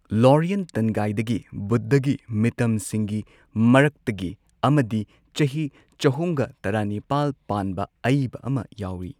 ꯂꯣꯔꯤꯌꯟ ꯇꯟꯒꯥꯏꯗꯒꯤ ꯕꯨꯗ꯭ꯙꯒꯤ ꯃꯤꯇꯝꯁꯤꯡꯒꯤ ꯃꯔꯛꯇꯒꯤ ꯑꯃꯗꯤ ꯆꯍꯤ ꯆꯍꯨꯝꯒ ꯇꯔꯥꯅꯤꯄꯥꯜ ꯄꯥꯟꯕ ꯑꯏꯕ ꯑꯃ ꯌꯥꯎꯏ꯫